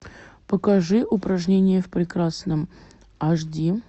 покажи упражнения в прекрасном аш ди